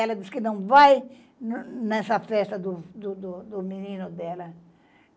Ela diz que não vai nessa festa do do do do menino dela.